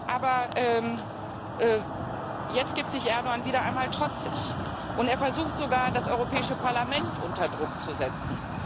Aber jetzt gibt sich Erdoğan wieder einmal trotzig und versucht sogar, das Europäische Parlament unter Druck zu setzen.